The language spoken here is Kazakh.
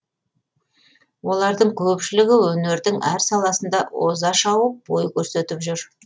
олардың көпшілігі өнердің әр саласында озашауып бой көрсетіп жүр